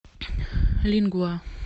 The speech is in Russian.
лингва